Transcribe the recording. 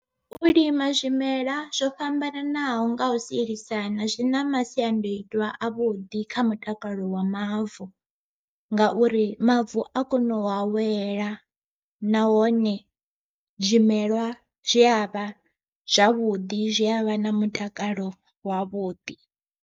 U lima zwimela zwo fhambananaho nga u sielisana zwi na masiandoitwa a vhuḓi kha mutakalo wa mavu, ngauri mavu a kona u awela nahone zwimelwa zwi avha zwavhuḓi zwi avha na mutakalo wavhuḓi.